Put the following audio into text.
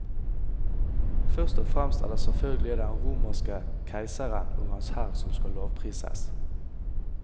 Først og fremst er det selvfølgelig den romerske keiseren og hans hær som skal lovprises.